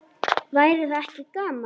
Væri það ekki gaman?